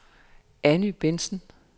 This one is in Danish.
Anny Bentsen